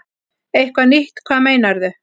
Eitthvað nýtt, hvað meinarðu?